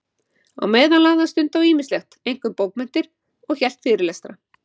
Á meðan lagði hann stund á ýmislegt, einkum bókmenntir, og hélt fyrirlestra.